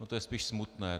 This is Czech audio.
No, to je spíš smutné.